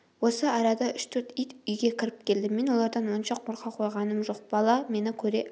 осы арада үш-төрт ит үйге кіріп келді мен олардан онша қорқа қойғаным жоқ бала мені көре